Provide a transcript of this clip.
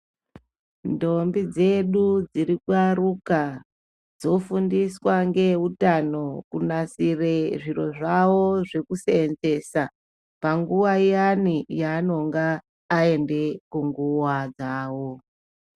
Ndombi dzedu dziri kuaruka dzofundiswa ngeeutano kunasire zviro zvawo zvekuseenzesa panguwa iyani yaanenga aende kunguwa dzawo.